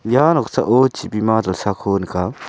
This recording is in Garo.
ua noksao chibima dilsako nika.